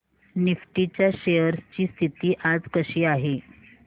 Nifty च्या shares ची स्थिती आज कशी आहे